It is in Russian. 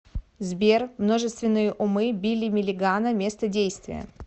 сбер множественные умы билли миллигана место действия